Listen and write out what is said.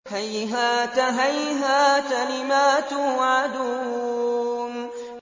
۞ هَيْهَاتَ هَيْهَاتَ لِمَا تُوعَدُونَ